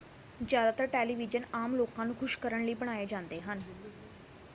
ਜ਼ਿਆਦਾਤਰ ਟੈਲੀਵੀਜ਼ਨ ਆਮ ਲੋਕਾਂ ਨੂੰ ਖੁਸ਼ ਕਰਨ ਲਈ ਬਣਾਏ ਜਾਂਦੇ ਹਨ